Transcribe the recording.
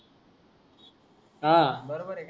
ह. बरोबर आहे न